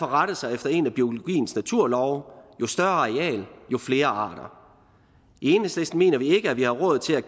rette os efter en af biologiens naturlove jo større areal jo flere arter i enhedslisten mener vi ikke at vi har råd til at